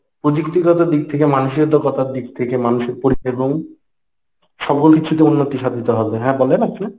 পুযুক্তিগত দিক থেকে মানসিকতার দিক থেকে মানুষের সকল কিছুতে উন্নতি সাধিত হবে। হ্যাঁ বলেন আপনে